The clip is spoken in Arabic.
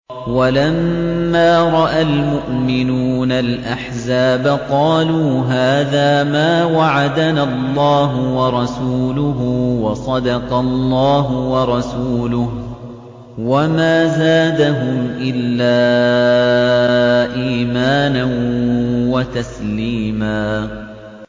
وَلَمَّا رَأَى الْمُؤْمِنُونَ الْأَحْزَابَ قَالُوا هَٰذَا مَا وَعَدَنَا اللَّهُ وَرَسُولُهُ وَصَدَقَ اللَّهُ وَرَسُولُهُ ۚ وَمَا زَادَهُمْ إِلَّا إِيمَانًا وَتَسْلِيمًا